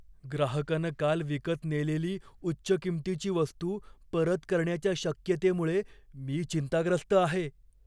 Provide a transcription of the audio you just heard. ग्राहकानं काल विकत नेलेली उच्च किंमतीची वस्तू परत करण्याच्या शक्यतेमुळे मी चिंताग्रस्त आहे.